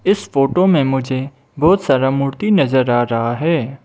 इस फोटो में मुझे बहोत सारा मूर्ति नजर आ रहा है।